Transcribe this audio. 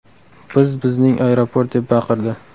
Biz bizning aeroport!” deb baqirdi.